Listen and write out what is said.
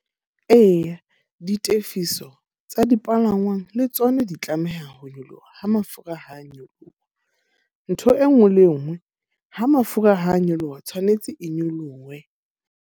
Eya, ditefiso tsa dipalangwang le tsona di tlameha ho nyoloha ha mafura ha a nyoloha. Ntho e nngwe le e nngwe, ha mafura ha a nyoloha tshwanetse e nyolohe.